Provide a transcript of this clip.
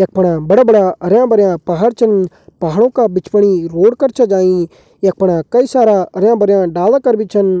यख फण बड़ा बड़ा हरयां भरयां पहाड़ छन पहाड़ का बिच फुण रोड कर छन जाईं यख फणा कई सारा हरयां भरयां डाला कर भी छन।